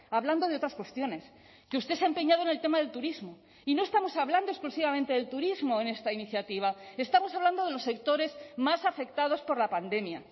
hablando de otras cuestiones que usted se ha empeñado en el tema del turismo y no estamos hablando exclusivamente del turismo en esta iniciativa estamos hablando de los sectores más afectados por la pandemia